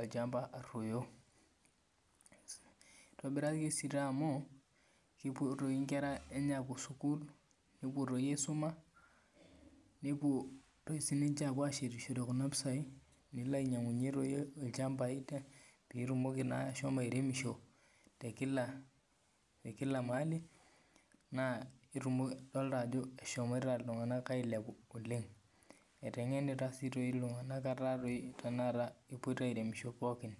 olchamba aruoyo eitobiraki sii amu kepuo enkera enye apuo sukuul nepuo aisuma nepuo doi sininje ainyiangishore Kuna pisai nepuo ainyiang'u olchamba petumoki naa ahomo airemisho tekila mahali naa edolita Ajo eshomoite iltung'ana ailepu oleng etengenita sii doi oleng iltung'ana etaa kegira tanakata apuo airemisho pookin